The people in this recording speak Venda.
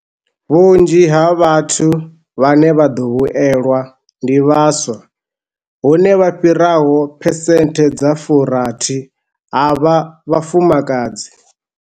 Vhunzhi ha vhathu vhane vha ḓo vhuelwa ndi vhaswa, hune vha fhiraho 60 percent ha vha vhafumakadzi.